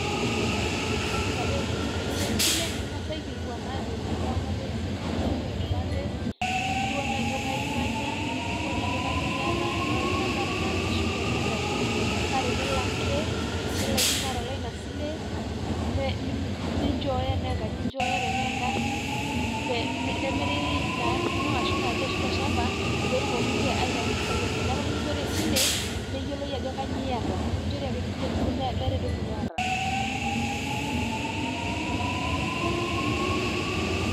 Lasima paa teniya esile niking'asae aikilikuan aajoki yau enamba esimu, niyau enkipante, nikingilikuani ajo kaji emanya, nikingilikuani ajo kanyio iyata tenaa olnchampa, tenaa enkishu, tenaa engaji paa tenelo ake nilakino atalaa ena sile ninchooyo tenaa engaji enchooyo tenaa egarri ne nemiri Ina arri ino aashu Ina aji ashu ilo shampa peetumoki inche aitau impisai enye neeku mikinchori esile emeyioloe ajo kanyio iyata, mekinchori ake duo meeta entoki niata.